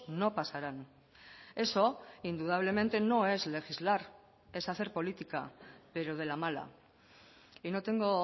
no pasarán eso indudablemente no es legislar es hacer política pero de la mala y no tengo